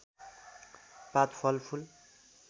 पात फल फूल